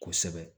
Kosɛbɛ